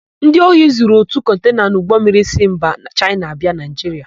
Ndị ohi zuru ótù kọntena n'ụgbọmmiri si mba Chaịna abịa Naịjiria.